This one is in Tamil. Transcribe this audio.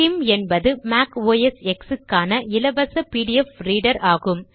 ஸ்கிம் என்பது மேக் ஓஎஸ் எக்ஸ் க்கான இலவச பிடிஎஃப் ரீடர் ஆகும்